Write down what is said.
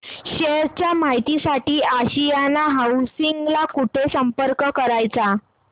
share च्या माहिती साठी आशियाना हाऊसिंग ला कुठे संपर्क करायचा